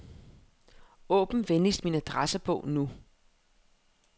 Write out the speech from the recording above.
Åbn venligst min adressebog nu.